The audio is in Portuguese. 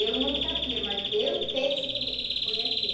Eu não sabia, mas eu penso que foi assim.